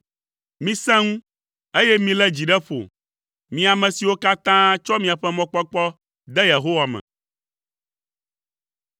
Misẽ ŋu, eye milé dzi ɖe ƒo, mi ame siwo katã tsɔ miaƒe mɔkpɔkpɔ de Yehowa me.